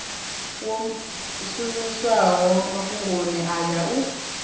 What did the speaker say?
wo shumiswaho mafhungoni aya u